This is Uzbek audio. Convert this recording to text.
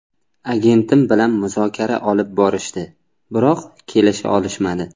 Agentim bilan muzokara olib borishdi, biroq kelisha olishmadi.